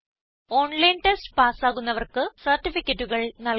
online test pass ആകുന്നവർക്ക് സർട്ടിഫിക്കറ്റുകൾ നല്കുന്നു